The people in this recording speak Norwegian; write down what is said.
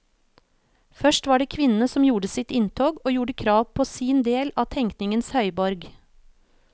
Først var det kvinnene som gjorde sitt inntog og gjorde krav på sin del av tenkningens høyborg.